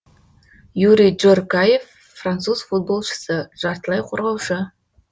юри джоркаефф француз футболшысы жартылай қорғаушы